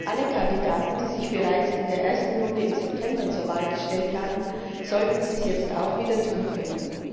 Alle Kandidaten, die sich bereits in der ersten Runde im September zur Wahl gestellt haben, sollten dies jetzt auch wieder tun können.